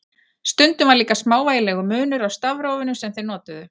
Stundum var líka smávægilegur munur á stafrófinu sem þeir notuðu.